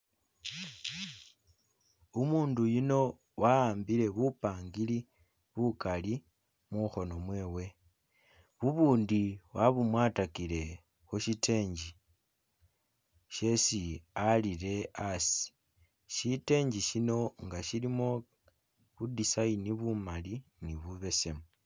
Umundu uyuno awambile bupangiri bukali mukhono mwewe bubundi wabumwatakile khushitenge shesi alile asi shitengi shino nga shilimo bu design bumali ni bubesemu.